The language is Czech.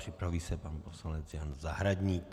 Připraví se pan poslanec Jan Zahradník.